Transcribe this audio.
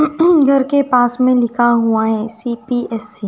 ऊ हु घर के पास में लिखा हुआ है सी_पी_एस_सी --